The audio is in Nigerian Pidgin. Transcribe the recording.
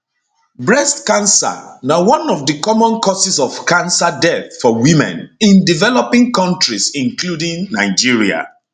breast cancer na one of di common causes of cancer deaths for women in developing kontris including nigeria